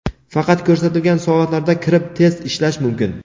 Faqat ko‘rsatilgan soatlarda kirib test ishlash mumkin.